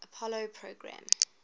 apollo program